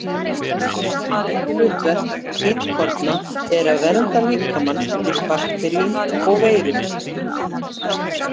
Aðalhlutverk hvítkorna er að vernda líkamann fyrir bakteríum og veirum.